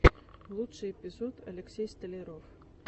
лучший эпизод алексей столяров